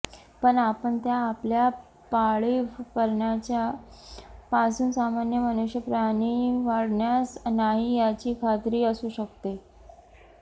पण आपण त्या आपल्या पाळीव प्राण्याचे पासून सामान्य मनुष्यप्राणी वाढण्यास नाही याची खात्री असू शकते